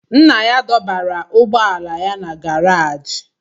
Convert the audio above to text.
Nna ya dọbara ụgbọala ya na gàráji